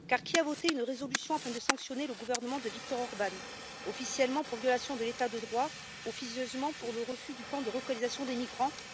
Car, qui a voté une résolution afin de sanctionner le gouvernement de Viktor Orbán, officiellement pour violation de l'état de droit, officieusement pour le refus du plan de relocalisation des migrants?